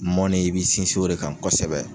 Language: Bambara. Mɔnni i b'i sinsin o de kan kosɛbɛ.